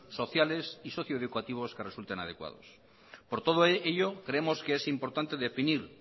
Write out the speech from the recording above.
sociales y socioeducativos que resulten adecuados por todo ello creemos que es importante definir